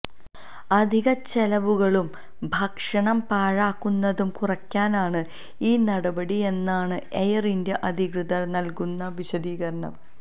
അധികച്ചെലവുകളും ഭക്ഷണം പാഴാകുന്നതും കുറക്കാനാണ് ഈ നടപടിയെന്നാണ് എയര് ഇന്ത്യ അധികൃതര് നല്കുന്ന വശദീകരണം